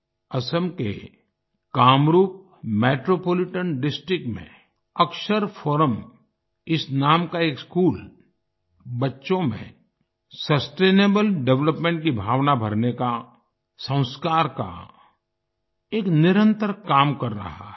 असम के Kamrup metropolitan district में Akshar forum इस नाम का एक स्कूल बच्चों में सस्टेनेबल डेवलपमेंट की भावना भरने का संस्कार का एक निरंतर काम कर रहा है